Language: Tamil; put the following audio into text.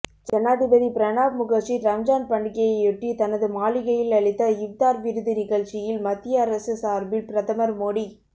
ஜனாதிபதி பிரணாப் முகர்ஜி ரம்ஜான் பண்டிகையையொட்டி தனது மாளிகையில் அளித்த இப்தார்விருந்து நிகழ்ச்சியில் மத்திய அரசு சார்பில் பிரதமர் மோடி